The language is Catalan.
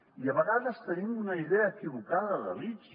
i a vegades tenim una idea equivocada de l’ics